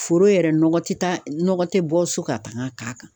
Foro yɛrɛ nɔgɔ te taa nɔgɔ te bɔ so ka tag'a k'a kan